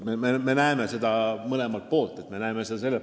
Me näeme seda koostööd mõlemalt poolt.